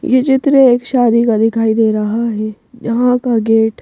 ये चित्र एक शादी का दिखाई दे रहा है यहाँ का गेट --